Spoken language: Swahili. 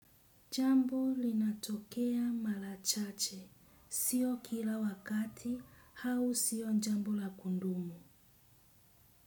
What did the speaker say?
Jambo linatokea malachache. Sio kila wakati au sio jambo la kudumu.